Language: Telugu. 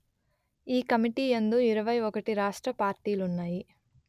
ఈ కమిటీ యందు ఇరవై ఒకటి రాష్ట్ర పార్టీలూన్నాయి